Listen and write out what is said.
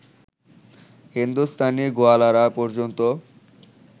হিন্দুস্থানি গোয়ালারা পর্যন্ত